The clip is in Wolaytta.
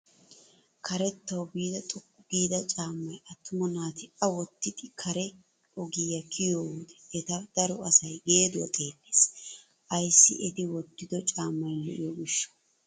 Karettawu biida xooqqu giida cammay attuma naati a wottidi kare ogiyaa kiyoo wode eta daro asay geeduwaa xeellees! ayssi eti wottido caammay lo"iyoo giishshawu!